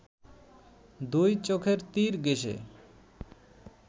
দুই চোখের তীর ঘেঁষে